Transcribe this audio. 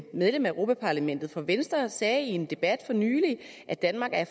medlem af europa parlamentet for venstre sagde i en debat for nylig at danmark er